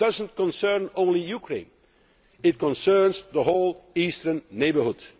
That does not concern only Ukraine it concerns the whole Eastern Neighbourhood.